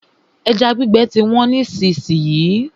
Ẹja gbígbẹ ti wọ́n nísìsiyìí.